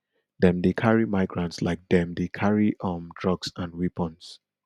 dem dey carry migrants like dem dey carry carry um drugs and weapons